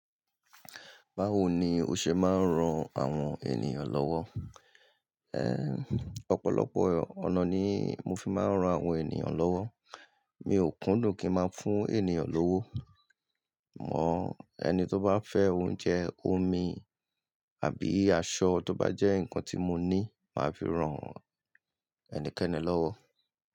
Báwo ni o ṣe máa ń ran àwọn ènìyàn lọ́wọ́? Ẹ̀h, ọ̀pọ̀lọpọ̀ ọ̀nà ni mo fi máa ń ran àwọn ènìyàn lọ́wọ́. Mi ò kúndùn kí ń máa fún ènìyàn lówó. Mọ́ ẹni tó bá fẹ́ oúnjẹ, omi àbí aṣọ tó bá jẹ́ ǹkan tí mo ní, màá fi ran ẹni kẹ́ni lọ́wọ́